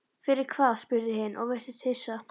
Fyrir hvað, spurði hin og virtist hissa.